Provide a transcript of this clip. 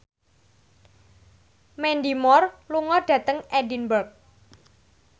Mandy Moore lunga dhateng Edinburgh